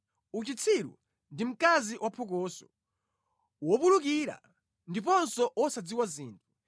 Uchitsiru ndi mkazi waphokoso, wopulikira ndiponso wosadziwa zinthu.